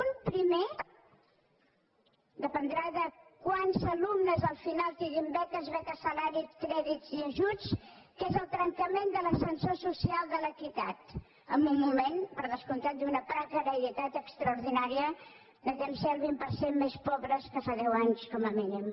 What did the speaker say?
un primer dependrà de quants alumnes al final tinguin beques beques salari crèdits i ajuts que és el trencament de l’ascensor social de l’equitat en un moment per descomptat d’una precarietat extraordinària de ser un vint per cent més pobres que fa deu anys com a mínim